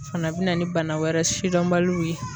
O fana be na ni bana wɛrɛ sidɔnbaliw ye.